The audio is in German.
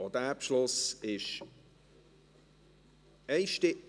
Auch dieser Beschluss ist einstimmig.